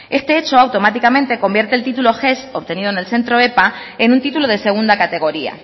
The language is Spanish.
este hecho automáticamente convierte el título ges obtenido en el centro epa en un titulo de segunda categoría